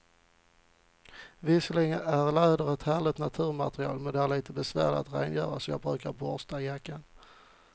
Visserligen är läder ett härligt naturmaterial, men det är lite besvärligt att rengöra, så jag brukar borsta jackan.